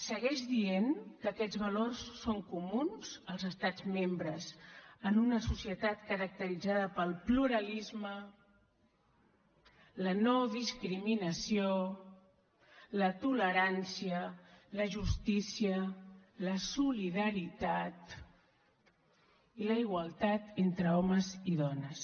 segueix dient que aquests valors són comuns als estats membres en una societat caracteritzada pel pluralisme la no discriminació la tolerància la justícia la solidaritat i la igualtat entre homes i dones